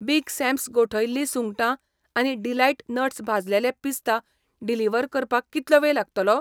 Big Sam's गोठयल्ली सुंगटां आनी डिलाईट नट्स भाजलेले पिस्ता डिलिव्हर करपाक कितलो वेळ लागतलो ?